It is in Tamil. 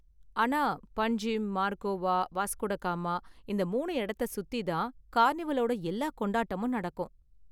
ஆனா பன்ஜிம், மார்கோவா, வாஸ்கோடகாமா இந்த மூணு இடத்தை சுத்தி தான் கார்னிவலோட எல்லா கொண்டாட்டமும் நடக்கும்.